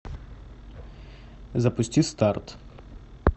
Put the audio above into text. запусти старт